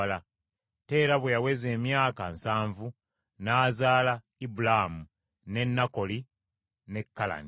Teera bwe yaweza emyaka nsanvu, n’azaala Ibulaamu, ne Nakoli ne Kalani.